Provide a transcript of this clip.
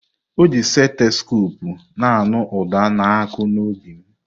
Ọji seteskopu na-anụ uda na-akụ n'obi m.